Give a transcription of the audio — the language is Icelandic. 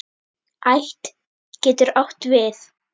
Ætt getur átt við